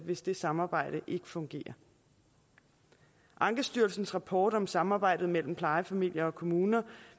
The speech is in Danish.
hvis det samarbejde ikke fungerer ankestyrelsens rapport om samarbejdet mellem plejefamilier og kommuner